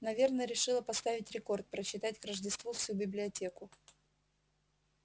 наверное решила поставить рекорд прочитать к рождеству всю библиотеку